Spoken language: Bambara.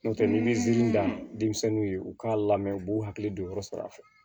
N'o tɛ n'i bɛ dan denmisɛnninw ye u k'a lamɛn u b'u hakili to yɔrɔ sara